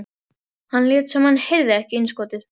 Hann lét sem hann heyrði ekki innskotið.